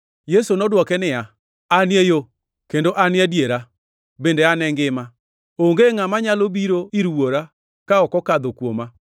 Yesu nodwoke niya, “An e yo kendo An e adiera bende An e ngima. Onge ngʼama nyalo biro ir Wuora ka ok okadho kuoma.